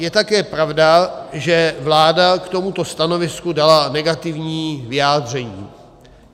Je také pravda, že vláda k tomuto stanovisku dala negativní vyjádření.